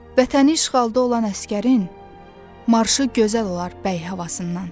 Vətəni işğalda olan əsgərin marşı gözəl olar bəy havasından.